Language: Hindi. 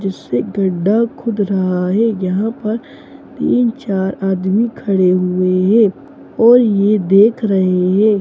जिससे गड्डा खुद रहा है यहां पर तीन-चार आदमी खड़े हुए हैं और यह देख रहे हैं।